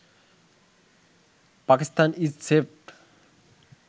Pakistan is saved